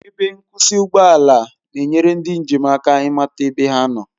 Ebe nkwụsị ụgbọ ala na-enyere ndị njem aka ịmata ebe ha nọ